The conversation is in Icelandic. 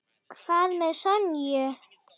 Hvað með Sonju?